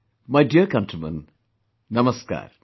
My dear countrymen, Namaskar